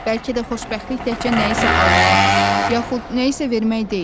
Bəlkə də xoşbəxtlik təkcə nəyisə almaq, yaxud nəyisə vermək deyil.